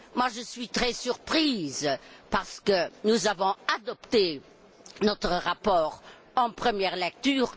Je suis très surprise parce que nous avons adopté notre rapport sur ce sujet en première lecture.